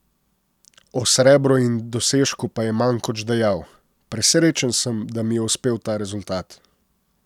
O srebru in dosežku pa je Mankoč dejal: 'Presrečen sem, da mi je uspel ta rezultat.